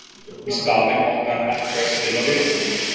Í staðinn átti hann ekki að spila vináttuleiki.